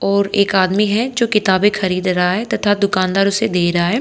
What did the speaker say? और एक आदमी है जो किताबें खरीद रहा है तथा दुकानदार उसे दे रहा है।